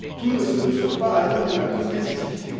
Tout ne se mesure pas à l'aune de la compétitivité.